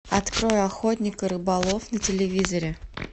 открой охотник и рыболов на телевизоре